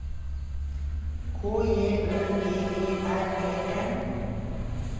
K J Ø P E R E N